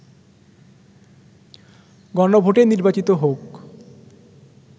গণভোটে নির্বাচিত হোক